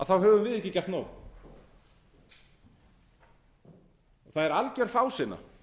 þá höfum við ekki gert nóg það er alger fásinna